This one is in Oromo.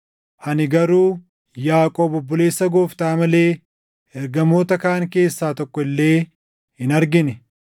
Ani garuu Yaaqoob obboleessa Gooftaa malee ergamoota kaan keessaa tokko illee hin argine.